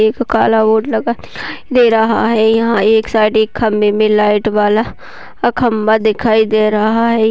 एक काला बोर्ड लगा दे रहा है। यहां एक साइड एक खंभे में लाइट वाला खंभा दिखाई दे रहा है।